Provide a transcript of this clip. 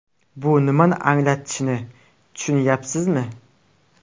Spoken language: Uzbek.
Bu nimani anglatishini tushunyapsizmi?